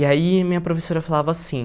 E aí minha professora falava assim...